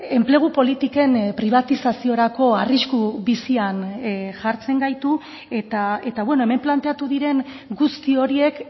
enplegu politiken pribatizaziorako arrisku bizian jartzen gaitu eta hemen planteatu diren guzti horiek